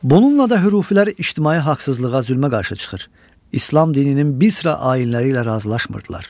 Bununla da hürufilər ictimai haqsızlığa, zülmə qarşı çıxır, İslam dininin bir sıra ainləri ilə razılaşmırdılar.